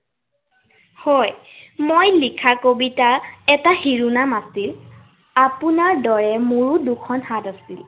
হয়। মই লিখা কবিতা এটাৰ শিৰোনাম আছিল, আপোনাৰ দৰে মোৰো দুখন হাত আছিল।